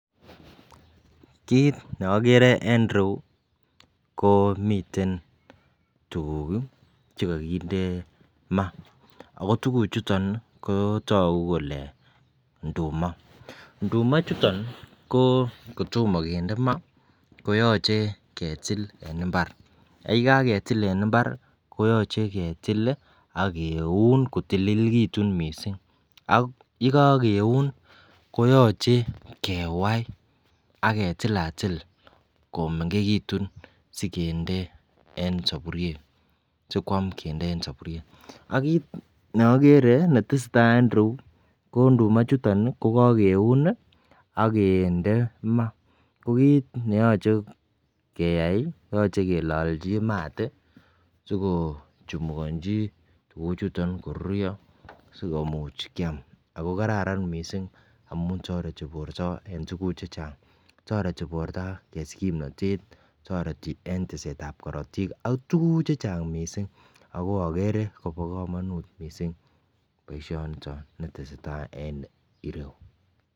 Kit neagere en ireyu ko miten tuguk chekakinde ma akotuguk chuton kotagu Kole nduma ako nduma chuton kotoma kende ma koyache ketil en imbar ak yekaketil en imbar koyache ketil akeun kotililikitun mising ako yekakeun koyache kewai aketil atil komengekitun sikende en saburiet sikwam kende en saburiet ako kit neagere netesetai en ireyu ko nduma ichuton kokakeun agende ma ako kit neyache keyai koyache kelanji mat sikochumuganji tuguk chuton akorurio sikomuch Kiam akokararan mising amun tareti borta en tuguk chechang tareti borta kosich kimnatet ako tareti en tiset ab Karatik akntuguk chechang mising akoagere Koba kamanut mising baishoniton netesetai en ireyu